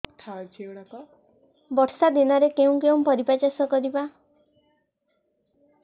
ବର୍ଷା ଦିନରେ କେଉଁ କେଉଁ ପରିବା ଚାଷ କରିବା